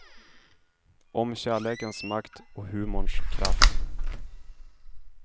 Om kärlekens makt och humorns kraft.